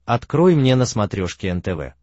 открой мне на смотрешке нтв